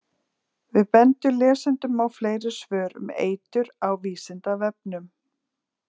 Við bendum lesendum á fleiri svör um eitur á Vísindavefnum.